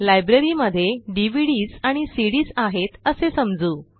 लायब्ररीमध्ये डीव्हीडीएस आणि सीडीएस आहेत असे समजू